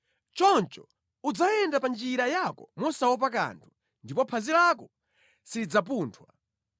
Choncho udzayenda pa njira yako mosaopa kanthu, ndipo phazi lako silidzapunthwa;